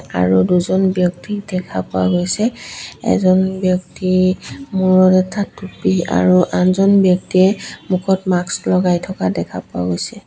আৰু দুজন ব্যক্তি দেখা পোৱা গৈছে এজন ব্যক্তি মূৰত এটা টুপী আৰু আনজন ব্যক্তিয়ে মুখত মাস্ক লগাই থকা দেখা পোৱা গৈছে।